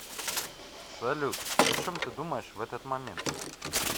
салют о чем ты думаешь в этот момент